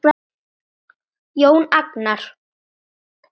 Jón Agnar?